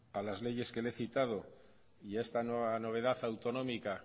a las leyes que le he citado y esta nueva novedad autonómica